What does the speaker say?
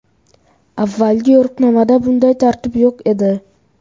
Avvalgi yo‘riqnomada bunday tartib yo‘q edi.